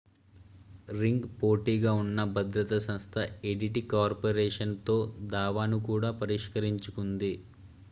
ring పోటీగా ఉన్న భద్రతా సంస్థ ఏడిటి కార్పొరేషన్ తో దావాను కూడా పరిష్కరించుకుంది